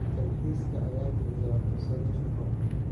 Dalxiiska ayaa bixiya fursado shaqo.